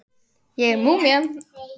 Ég er múmían.